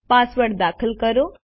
password દાખલ કરો